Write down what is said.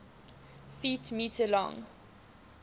ft m long